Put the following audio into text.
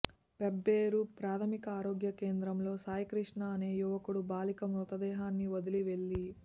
పెబ్బేరు ప్రాథమిక ఆరోగ్య కేంద్రంలో సాయికృష్ణ అనే యువకుడు బాలిక మృతదేహాన్ని వదిలి వెళ్లి